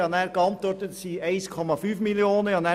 Ich habe dann geantwortet, dass es 1,5 Mio. Franken sind.